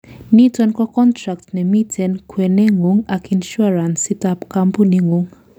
niton ko contract nemiten en kwenengung ak insurance itab campuningung